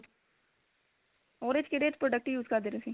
ਉਹਦੇ ਚ ਕਿਹੜੇ product use ਕਰਦੇ ਓ ਤੁਸੀਂ